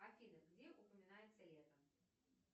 афина где упоминается лето